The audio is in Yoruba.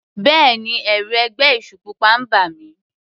Bẹ́ẹ̀ni, ẹ̀rù ẹgbẹ́ èṣù pupa ń bà mí.